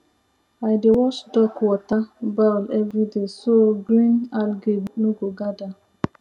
i dey wash duck water bowl everyday so green algae no go gather